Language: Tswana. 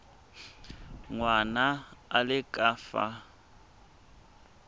ngwana a le ka fa